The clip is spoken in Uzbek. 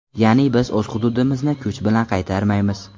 Ya’ni biz o‘z hududimizni kuch bilan qaytarmaymiz.